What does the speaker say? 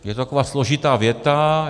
- Je to taková složitá věta.